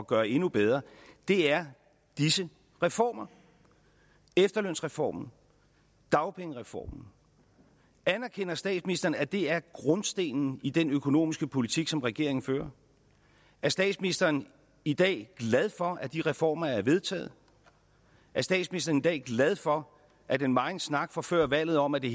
gøre endnu bedre er disse reformer efterlønsreformen dagpengereformen anerkender statsministeren at det er grundstenen i den økonomiske politik som regeringen fører er statsministeren i dag glad for at de reformer er blevet vedtaget er statsministeren i dag glad for at den megen snak fra før valget om at det